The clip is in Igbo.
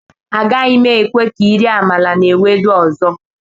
Agaghị m ekwe ka ị rie amala na Ewedu ọzọ